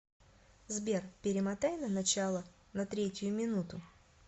сбер перемотай на начало на третью минуту